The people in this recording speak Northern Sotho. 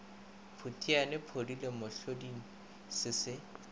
phutiane podile mohloding se se